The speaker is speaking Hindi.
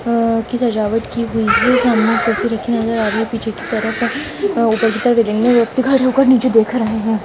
ऊपर नीचे देख रहे हैं।